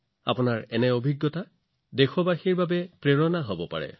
আপোনাৰ অভিজ্ঞতা আন বহুতো দেশবাসীৰ বাবে অনুপ্ৰেৰণা হব পাৰে